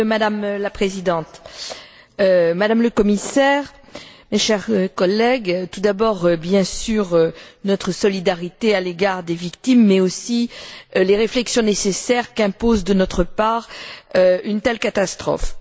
Madame la Présidente, Madame la Commissaire, mes chers collègues, en premier lieu bien sûr notre solidarité à l'égard des victimes mais aussi les réflexions nécessaires qu'impose de notre part une telle catastrophe.